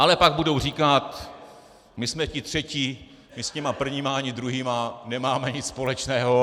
Ale pak budou říkat: My jsme ti třetí, my s těmi prvními ani druhými nemáme nic společného.